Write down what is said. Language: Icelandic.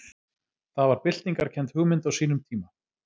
Það var byltingarkennd hugmynd á sínum tíma.